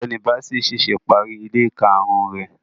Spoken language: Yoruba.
Ọgbẹni Bassey ṣẹṣẹ pari ile karun rẹ